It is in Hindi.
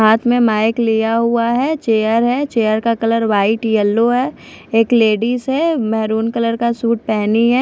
हाथ में माइक लिया हुआ है चेयर है चेयर का कलर व्हाइट येलो है एक लेडीज़ है मेहरून कलर का सूट पहनी है।